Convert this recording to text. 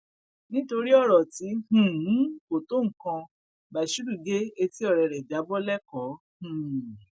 nítorí ọrọ tí um kò tó nǹkan bashiru gé etí ọrẹ ẹ já bọ lẹkọọ um